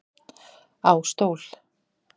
Á stól